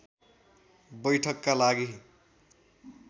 बैठकका लागि